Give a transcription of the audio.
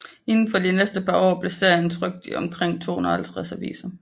Inden for det næste par år blev serien trykt i omkring 250 aviser